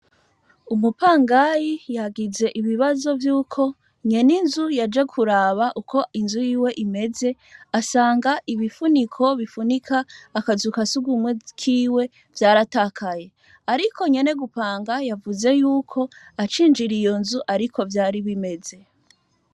Umupangayi yagize ibibazo vyuko nyeninzu yaje kuraba uko inzu yiwe imeze asanga ibifuniko bifunika akazu ka sugumwe kiwe vayaratakaye, ariko nyene gupanga yavuze yuko acinjira iyo nzu ariko vyari bimeze.